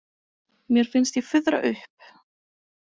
Mér finnst ég fuðra upp.